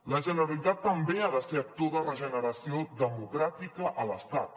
la generalitat també ha de ser actor de regeneració democràtica a l’estat